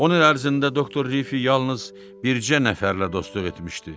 10 il ərzində doktor Riffi yalnız bircə nəfərlə dostluq etmişdi.